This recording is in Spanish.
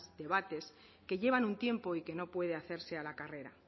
debates que llevan un tiempo y que no puede hacerse a la carrera